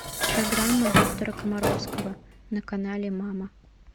программа доктора комаровского на канале мама